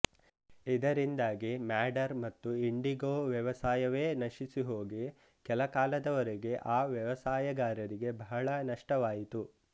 ಇದರಿಂದಾಗಿ ಮ್ಯಾಡರ್ ಮತ್ತು ಇಂಡಿಗೋ ವ್ಯವಸಾಯವೇ ನಶಿಸಿಹೋಗಿ ಕೆಲಕಾಲದವರೆಗೆ ಆ ವ್ಯವಸಾಯಗಾರರಿಗೆ ಬಹಳ ನಷ್ಟವಾಯಿತು